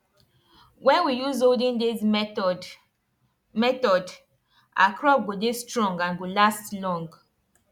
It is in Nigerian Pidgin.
wen we use olden days method method our crop go dey strong and go last long